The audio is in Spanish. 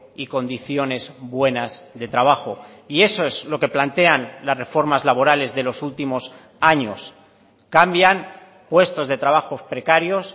y condiciones buenas de trabajo y eso es lo que plantean las reformas laborales de los últimos años cambian puestos de trabajos precarios